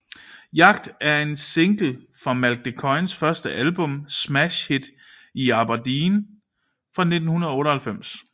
Jagt er en single fra Malk de Koijns første album Smash Hit In Aberdeen fra 1998